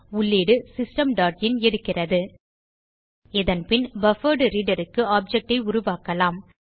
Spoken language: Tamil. உள்ளீடு சிஸ்டம் டாட் இன் எடுக்கிறது இதன்பின் BufferedReaderக்கு ஆப்ஜெக்ட் ஐ உருவாக்கலாம்